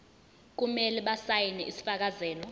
kumele basayine isifakazelo